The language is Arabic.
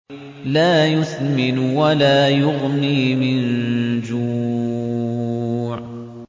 لَّا يُسْمِنُ وَلَا يُغْنِي مِن جُوعٍ